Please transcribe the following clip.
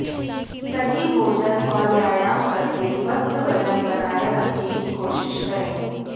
सही भोजन और व्यायाम करके स्वस्थ वजन बनाए रखने की कोशिश करें